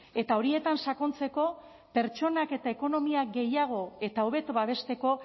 eta horietan sakontzeko pertsonak eta ekonomia gehiago eta hobeto babesteko